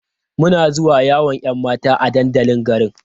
Muna zuwa yawon 'yan mata a dandalin garin.